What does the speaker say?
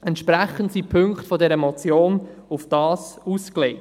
Entsprechend sind die Punkte dieser Motion darauf ausgelegt.